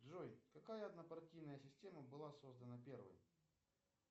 джой какая однопартийная система была создана первой